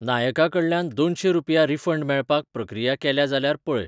नायका कडल्यान दोनशें रुपया रिफंड मेळपाक प्रक्रिया केल्या जाल्यार पळय.